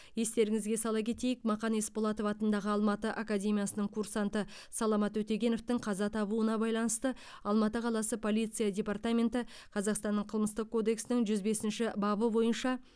естеріңізге сала кетейік мақан есболатов атындағы алматы академиясының курсанты саламат өтегеновтің қаза табуына байланысты алматы қаласының полиция департаменті қазақстанның қылмыстық кодексінің жүз бесінші бабы бойынша